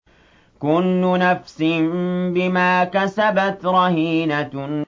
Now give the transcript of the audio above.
كُلُّ نَفْسٍ بِمَا كَسَبَتْ رَهِينَةٌ